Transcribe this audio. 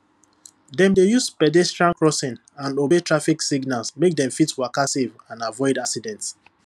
dem dey use pedestrian crossing and obey traffic signal make dem fit waka safe and avoid accident